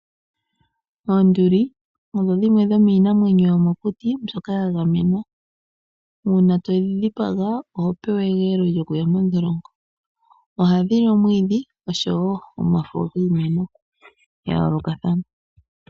Oonduli odho dhimwe dhoka yomiinamwenyo yomo kuti mboka ya gamenwa, uuna todhi dhipaga oho pewa egeelo lyoku ya mondholongo ohandhi li omwiidhi noshowo omafo kiimeno ya yooloka thana.